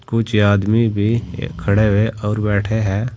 कुछ आदमी भी खड़े हुए और बैठे हैं।